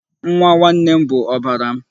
Nwa nwanne m bụ ọbara m.